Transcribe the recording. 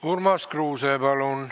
Urmas Kruuse, palun!